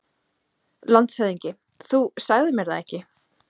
LANDSHÖFÐINGI: Þú sagðir mér það ekki.